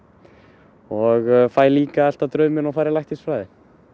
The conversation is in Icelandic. og fæ líka að elta drauminn og fara í læknisfræði